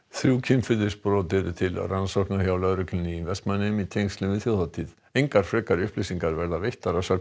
þrjú kynferðisbrot eru til rannsóknar hjá lögreglunni í Vestmannaeyjum í tengslum við þjóðhátíð engar frekari upplýsingar verða veittar að sögn